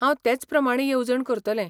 हांव तेच प्रमाणें येवजण करतलें.